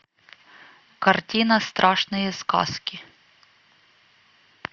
картина страшные сказки